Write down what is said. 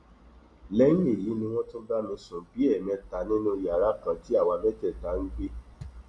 lẹyìn èyí ni wọn tún bá mi sùn bíi ẹẹmẹta nínú yàrá kan tí àwa mẹtẹẹta jọ ń gbé